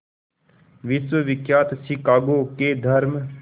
विश्वविख्यात शिकागो के धर्म